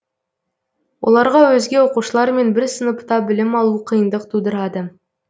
оларға өзге оқушылармен бір сыныпта білім алу қиындық тудырады